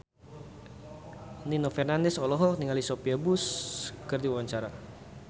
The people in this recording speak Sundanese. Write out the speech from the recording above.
Nino Fernandez olohok ningali Sophia Bush keur diwawancara